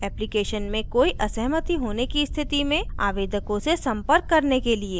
application में कोई असहमति होने की स्थिति में आवेदकों से संपर्क करने के लिए